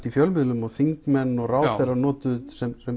í fjölmiðlum og þingmenn og ráðherrar notuðu